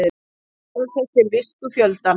Staðfestir visku fjöldans